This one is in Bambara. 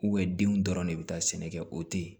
denw dɔrɔn de bi taa sɛnɛ kɛ o te ye